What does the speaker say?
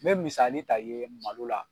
N bɛ misali ta i ye malo la.